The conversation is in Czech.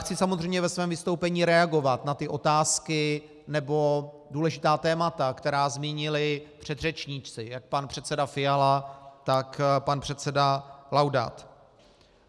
Chci samozřejmě ve svém vystoupení reagovat na ty otázky nebo důležitá témata, která zmínili předřečníci, jak pan předseda Fiala, tak pan předseda Laudát.